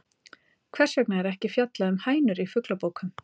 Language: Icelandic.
Hvers vegna er ekki fjallað um hænur í fuglabókum?